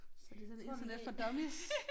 Så det sådan internet for dummies